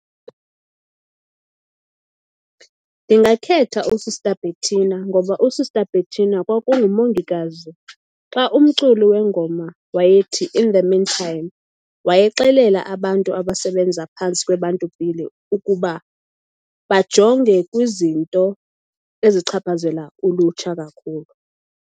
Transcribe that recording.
Ndingakhetha uSista Bhethina ngoba uSista Bhethina kwakungu mongikazi. Xa umculi wengoma wayethi in the mean time, wayexelela abantu abasebenza phantsi ukuba bajonge kwizinto ezichaphazela ulutsha kakhulu.